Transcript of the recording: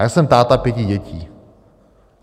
Já jsem táta pěti dětí.